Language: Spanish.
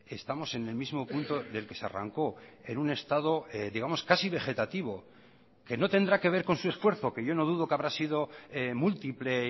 estamos en el mismo punto del que se arrancó en un estado digamos casi vegetativo que no tendrá que ver con su esfuerzo que yo no dudo que habrá sido múltiple